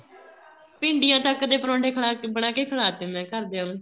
ਭਿੰਡੀਆਂ ਤੱਕ ਦੇ ਪਰੋਠੇ ਬਣਾਕੇ ਕੇ ਖਿਲਾਤੇ ਮੈਂ ਘਰਦਿਆਂ ਨੂੰ